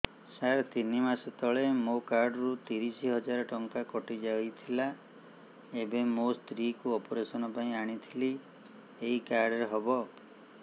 ସାର ତିନି ମାସ ତଳେ ମୋ କାର୍ଡ ରୁ ତିରିଶ ହଜାର ଟଙ୍କା କଟିଯାଇଥିଲା ଏବେ ମୋ ସ୍ତ୍ରୀ କୁ ଅପେରସନ ପାଇଁ ଆଣିଥିଲି ଏଇ କାର୍ଡ ରେ ହବ